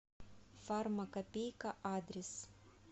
фармакопейка адрес